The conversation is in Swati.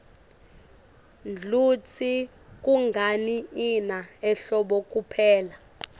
ngluitsi kungani ina ehlobo kuphela